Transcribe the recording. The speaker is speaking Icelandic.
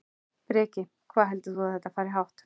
Breki: Hvað heldur þú að þetta fari hátt?